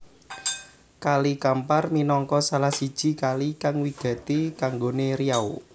Kali Kampar minangka salah siji kali kang wigati kanggoné Riau